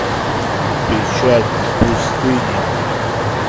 печать пустыни